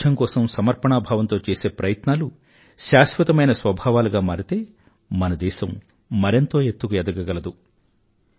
పారిశుధ్యం కోసం సమర్పణా భావంతో చేసే ప్రయత్నాలు శాశ్వతమైన స్వభావాలుగా మారితే మన దేశం మరెంతో ఎత్తుకు ఎదగగలదు